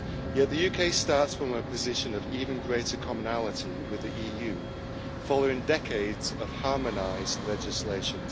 Yet the UK starts from a position of even greater commonality with the EU, following decades of harmonised legislation.